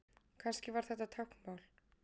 Kannski var þetta táknmál?